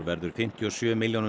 verður fimmtíu og sjö milljónum